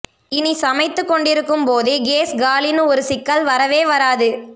இனி சமைத்துக் கொண்டிருக்கும் போதே கேஸ் காலின்னு ஒரு சிக்கல் வரவே வராது